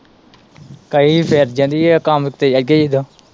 ਕਹੀ ਫਿਰ ਜਾਂਦੀ, ਕੰਮ ਤੇ ਲੱਗੇ ਜਦੋਂ।